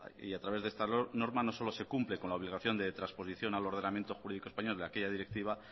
y a través de esta norma no solo se cumple con la obligación de transposición al ordenamiento jurídico español de aquella directiva